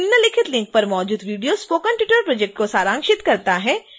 निम्नलिखित लिंक पर मौजूद वीडियो स्पोकन ट्यूटोरियल प्रोजेक्ट को सारांशित करता है